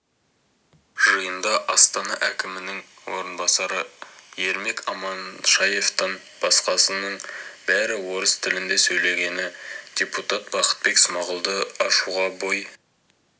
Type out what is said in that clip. жиында астана әкімінің орынбасары ермек аманшаевтан басқасының бәрі орыс тілінде сөйлегені депутат бақытбек смағұлды ашуға бой